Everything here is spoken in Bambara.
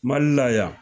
Mali la yan